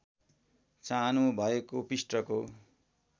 चाहनु भएको पृष्ठको